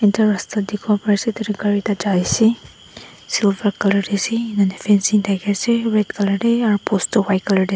ekta rasta dekhivo pari ase tatey gari ekta jai ase silver colour tae ase enika fencing dakhi ase red colour tae aru post toh white colour tae--